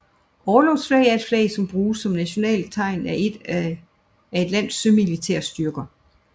Orlogsflag er et flag som bruges som nationalitetstegn af et lands sømilitære styrker